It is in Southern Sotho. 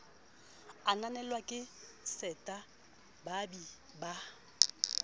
ananelwa ke seta baabi ba